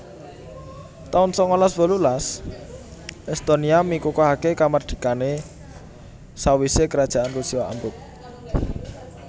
taun sangalas wolulas Estonia mikukuhaké kamardikané sawisé Kerajaan Rusia ambruk